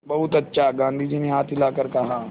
बहुत अच्छा गाँधी जी ने हाथ हिलाकर कहा